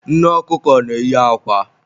Nne ọkụkọ na-eyi akwa